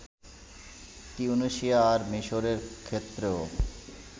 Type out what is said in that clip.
তিউনিসিয়া আর মিসরের ক্ষেত্রেও